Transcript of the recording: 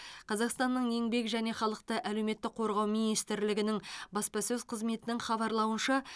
қазақстанның еңбек және халықты әлеуметтік қорғау министрлігінің баспасөз қызметінің хабарлауынша